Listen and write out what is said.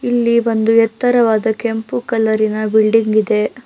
ಇಲ್ಲಿ ಒಂದು ಏತ್ತರವಾದ ಕೆಂಪು ಕಲರಿ ನ ಬಿಲ್ಡಿಂಗ್ ಇದೆ.